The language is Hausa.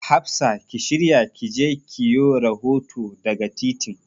Hafsa ki shirya ki je ki yo rahoto daga titin.